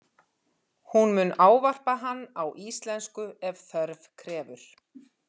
Hún mun ávarpa hann á íslensku ef þörf krefur.